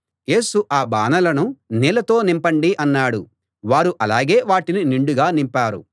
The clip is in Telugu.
యేసు ఆ బానలను నీళ్లతో నింపండి అన్నాడు వారు అలాగే వాటిని నిండుగా నింపారు